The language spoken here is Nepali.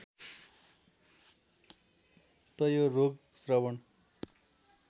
त यो रोग श्रवण